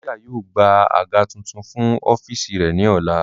Cynthia yóò gba aga tuntun fun ọfiisi rẹ ni ọla.